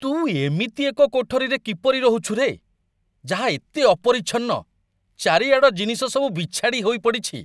ତୁ ଏମିତି ଏକ କୋଠରୀରେ କିପରି ରହୁଛୁ ରେ, ଯାହା ଏତେ ଅପରିଚ୍ଛନ୍ନ, ଚାରିଆଡ଼ ଜିନିଷ ସବୁ ବିଛାଡ଼ି ହୋଇ ପଡ଼ିଛି?